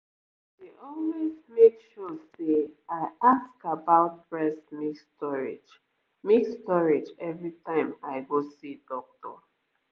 i dey always make sure say i ask about breast milk storage milk storage every time i go see doctor